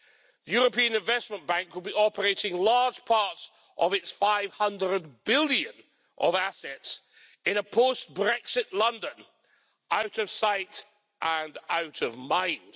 The European Investment Bank will be operating large parts of its EUR 500 billion of assets in a post-Brexit London, out of sight and out of mind.